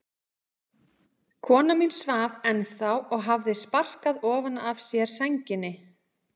Kona mín svaf ennþá og hafði sparkað ofan af sér sænginni.